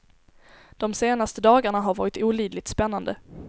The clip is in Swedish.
De senaste dagarna har varit olidligt spännande.